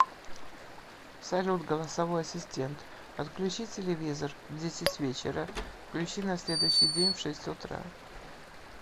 салют голосовой ассистент отключи телевизор в десять вечера включи на следующий день в шесть утра